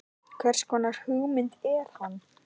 Hvers konar hugmynd er hann?